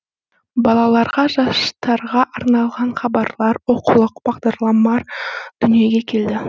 балаларға жастарға арналған хабарлар оқулық бағдарламалар дүниеге келді